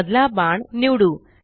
मधला बाण निवडू